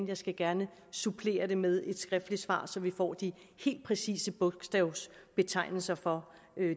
jeg skal gerne supplere med et skriftligt svar så vi får de helt præcise bogstavbetegnelser for